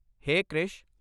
ਹੇ Krish!